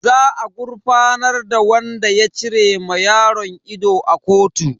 Za a gurfanar da wadan ya cire ma yaron ido a kotu.